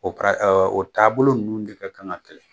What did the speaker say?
O kara ɛ ɔ o taabolo ninnu de ka kan kɛlɛ